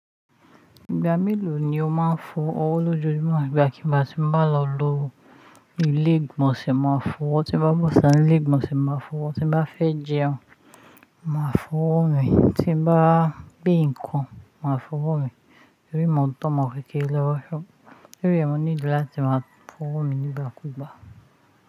Ìgbà mélòó ni o máa ń fọ ọwọ́ lójoojúmọ́? Ìgbà kí gbá ti ń bá lọ lo ilé ìgbọ̀nsẹ̀ máa fọ ọwọ́, tí bá bọ́ sita nilé ìgbọ̀nsẹ̀ máa fọ ọwọ́, tí bá fẹ́ jẹun máa fọ ọwọ́ mi, tí bá gbé nǹkan máa fọ ọwọ́ mi. Tori mi ò ntọ́ omo kékere lowo ṣo tori e mo need láti máa fọ́ ọwọ́ mi nígbà kú ìgbà.